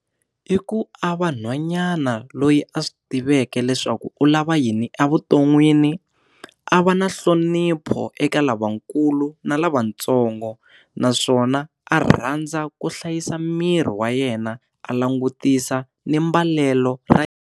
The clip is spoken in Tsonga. I ku a vanhwanyana loyi a swi tiveka leswaku u lava yini evuton'wini a va na nhlonipho eka lavakulu na lavatsongo naswona a rhandza ku hlayisa miri wa yena a langutisa ni mbalelo ra yena.